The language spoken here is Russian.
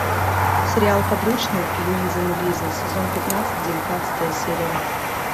сериал подручный луизы нулизы сезон пятнадцать девятнадцатая серия